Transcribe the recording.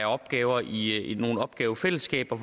opgaver i nogle opgavefællesskaber